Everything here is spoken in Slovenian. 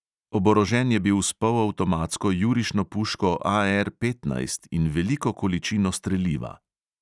Oborožen je bil s polavtomatsko jurišno puško AR petnajst in veliko količino streliva.